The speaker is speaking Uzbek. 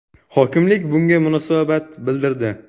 Hokimlik bunga munosabat bildirdi.